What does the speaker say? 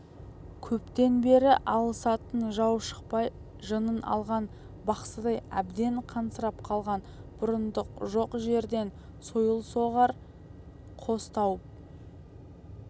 көптен бері алысатын жау шықпай жынын алған бақсыдай әбден қансырап қалған бұрындық жоқ жерден сойыл соғар қос тауып